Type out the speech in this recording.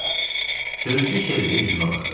Sürücü çevrilib üzümə baxdı.